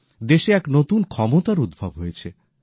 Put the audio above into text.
দেশ এক নতুন ক্ষমতার উদ্ভব হয়েছে